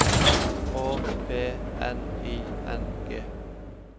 Å P N I N G